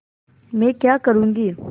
मैं क्या करूँगी